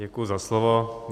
Děkuji za slovo.